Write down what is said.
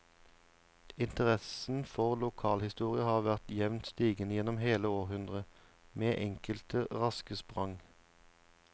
Interessen for lokalhistorie har vært jevnt stigende gjennom hele århundret, med enkelte raske sprang.